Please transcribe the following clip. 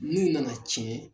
N'u nana cɛn